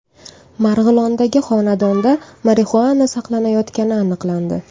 Marg‘ilondagi xonadonda marixuana saqlanayotgani aniqlandi.